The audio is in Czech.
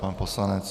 Pan poslanec.